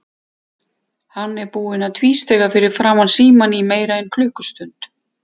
Hann er búinn að tvístíga fyrir framan símann í meira en klukkustund.